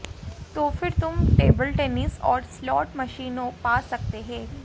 तो फिर तुम टेबल टेनिस और स्लॉट मशीनों पा सकते हैं